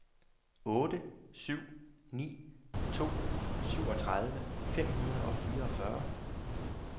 otte syv ni to syvogtredive fem hundrede og fireogfyrre